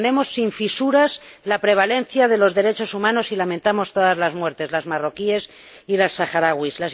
Defendemos sin fisuras la prevalencia de los derechos humanos y lamentamos todas las muertes, las marroquíes y las saharauis.